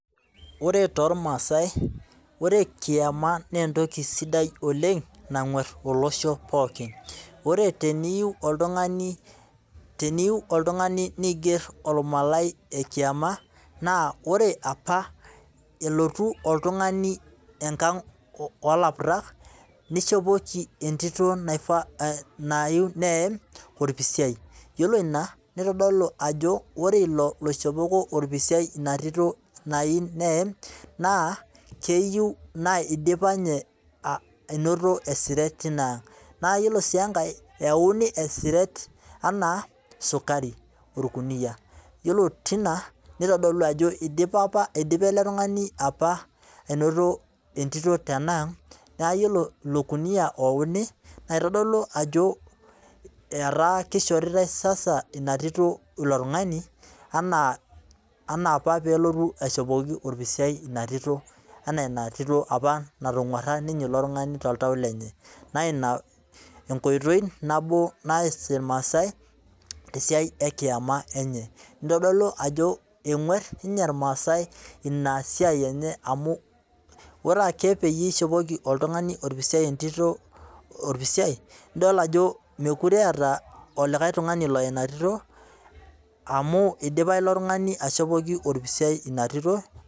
Ore toormasai, ore kiama naa entoki sidai oleng nangwar olosho pookin ,ore teneyieu oltungani neiger olmalai lekiama, naa ore apa elotu oltungani enkang oolaputak, neishopoki entito nayieu neyam orpisiai, ore ina neitodolu ajo ore ilo oishopoko ina Tito orpisiai nayeu neyam naa keyieu naa idipa ninye anoto esiret tinaang, naa yiolo sii enkae eyauni esiret anaa sukari orkunia ,yiolo tina neitodolu ajo eidip apa ilo tungani anoto entito tenang ,naa yiolo ilo kuniyia oyauni naa keitodolu ajo keishoritae ina tito sasa ilo tungani ana apa peyie elotu aishopoki orpisiai ina tito anaa ina tito apa natagwara ilo tungani toltau lenye naa ina enkoitoi nabo naas irmaasai tesiai ekiama enye ,neitodolu ajo egwar ninche irmasai ina siai enye amu ore ake peyie eishopoki oltungani orpisiai entito nidol ajo mookure eeta olikae tungani oya ina tito amu idipa ilo tungani aishopoki orpisiai ina tito.